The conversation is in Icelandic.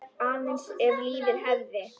Aðeins ef lífið hefði.?